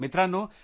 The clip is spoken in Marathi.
मित्रांनो